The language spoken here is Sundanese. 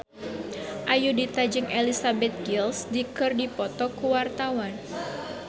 Ayudhita jeung Elizabeth Gillies keur dipoto ku wartawan